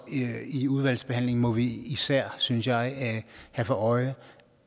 i udvalgsbehandlingen må vi især synes jeg have for øje